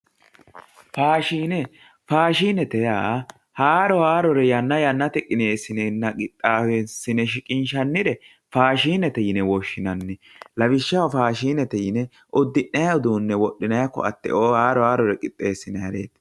faashine faashinete yaa haaro haarore yanna yannatenni qixxeessi'neenna qinaawe shiqishaannire faashinete yine woshshinanni lawishshaho faashhshinete yine uddi'nay uduunne wodhinay koatteo haaro haarore qixxeessinayire